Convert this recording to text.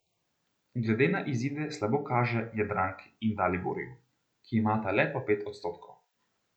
Glede na izide slabo kaže Jadranki in Daliborju, ki imata le po pet odstotkov.